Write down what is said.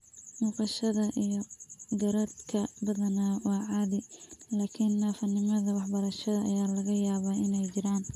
Muuqashada iyo garaadka badanaa waa caadi, laakiin naafonimada waxbarashada ayaa laga yaabaa inay jiraan.